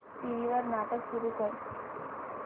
TV वर नाटक सुरू कर